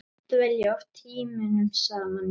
Dvelja oft tímunum saman í